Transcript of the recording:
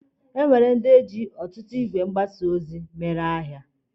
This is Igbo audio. E nwere ndi ji ọtutu igwe mgbasa ozi ọtụtụ mmadụ tọọ mgbere ahịa.